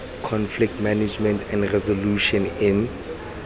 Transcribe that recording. conflict management and resolutions in